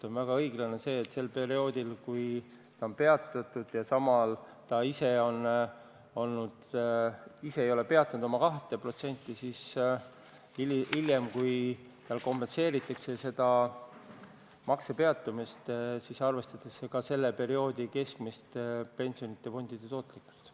On väga õiglane, et sel perioodil, kui see on peatatud, ja samal ajal inimene ise ei ole peatanud oma 2% maksmist, siis hiljem, kui kompenseeritakse selle makse peatamist, siis arvestatakse ka selle perioodi keskmist pensionifondide tootlikkust.